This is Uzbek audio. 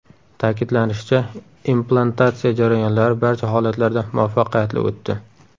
Ta’kidlanishicha, implantatsiya jarayonlari barcha holatlarda muvaffaqiyatli o‘tdi.